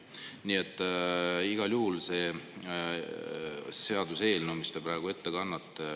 Nii et igal juhul see seaduseelnõu, mis te praegu ette kannate …